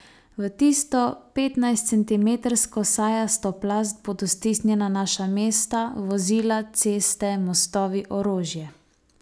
V tisto petnajstcentimetrsko sajasto plast bodo stisnjena naša mesta, vozila, ceste, mostovi, orožje.